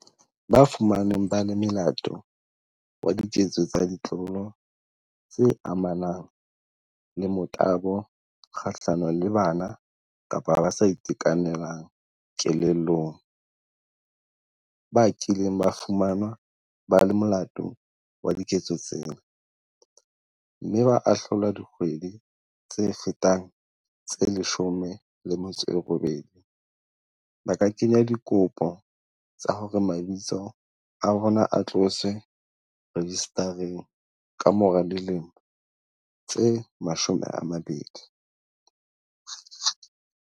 Ba fumanweng ba le molato wa diketso tsa ditlolo tse amanang le motabo kga hlano le bana kapa ba sa itekanelang kelellong, ba kileng ba fumanwa ba le molato wa diketso tsena, mme ba ahlolwa dikgwedi tse fetang tse 18 ba ka kenya dikopo tsa hore mabitso a bona a tloswe rejistareng kamora dilemo tse 20.